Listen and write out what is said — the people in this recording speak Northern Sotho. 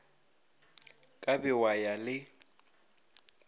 ka be wa ya le